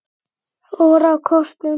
fór á kostum.